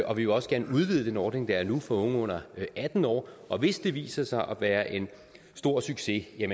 og vi vil også gerne udvide den ordning der er nu for unge under atten år og hvis det viser sig at være en stor succes er